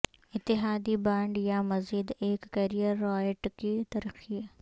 اتحادی بانڈ یا مزید ایک کیریئر رائٹ کی ترقی